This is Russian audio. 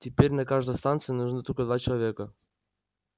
теперь на каждой станции нужны только два человека